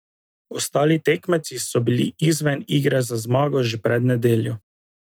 Ostali tekmovalci so bili izven igre za zmago že pred nedeljo.